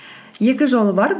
екі жолы бар